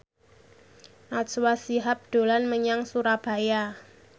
Najwa Shihab dolan menyang Surabaya